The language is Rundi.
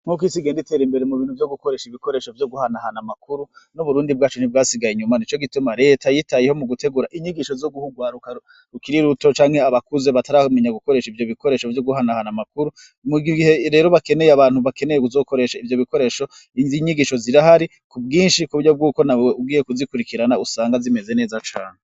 Nk'uko isi genda itera imbere mu bintu vyo gukoresha ibikoresho vyo guhanahana amakuru n'uburundi bwacu ntibwasigaye inyuma ni co gituma leta yitayeho mu gutegura inyigisho zo guhugwaruka rukiri iruto canke abakuze bataramenya gukoresha ivyo bikoresho vyo guhanahana amakuru mu gihe rero bakeneye abantu bakeneye kuzokoresha ivyo bikoresho iz inyigisho zira hari ku bwinshi ku buryo bw'uko na wewe uwiye kuzikora ikirana usanga zimeze neza cane.